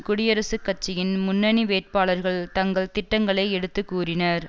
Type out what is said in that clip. குடியரசுக் கட்சியின் முன்னணி வேட்பாளர்கள் தங்கள் திட்டங்களை எடுத்து கூறினர்